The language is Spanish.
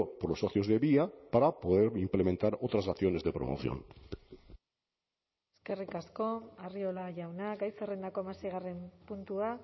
por los socios de vía para poder implementar otras acciones de promoción eskerrik asko arriola jauna gai zerrendako hamaseigarren puntua